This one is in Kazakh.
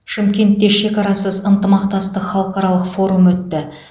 шымкентте шекарасыз ынтымақтастық халықаралық форумы өтті